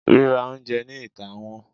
rira oúnjẹ ni itá wón